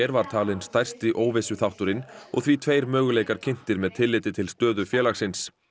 var talin stærsti óvissuþátturinn og því tveir möguleikar kynntir með tilliti til stöðu félagsins